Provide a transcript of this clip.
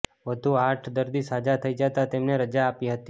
વધુ આઠ દર્દી સાજા થઇ જતાં તેમને રજા આપી હતી